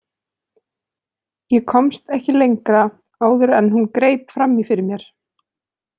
Ég komst ekki lengra áður en hún greip fram í fyrir mér.